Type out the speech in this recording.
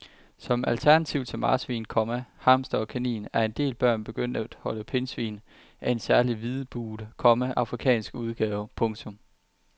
Som alternativ til marsvin, komma hamster og kanin er en del børn begyndt at holde pindsvin af en særlig hvidbuget, komma afrikansk udgave. punktum